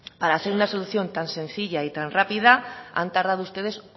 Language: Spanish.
para hacer una solución tan sencilla y tan rápida han tardado ustedes